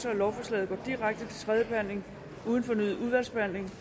at lovforslaget går direkte til tredje behandling uden fornyet udvalgsbehandling